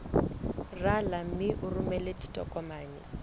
rala mme o romele ditokomene